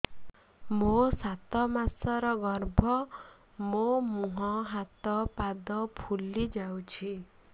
ମୋ ସାତ ମାସର ଗର୍ଭ ମୋ ମୁହଁ ହାତ ପାଦ ଫୁଲି ଯାଉଛି